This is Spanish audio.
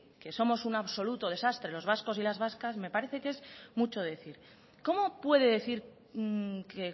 que somos un absoluto desastre los vascos y las vascas me parece que es mucho decir cómo puede decir que